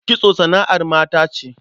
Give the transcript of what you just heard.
Kitso sana'ar mata ce.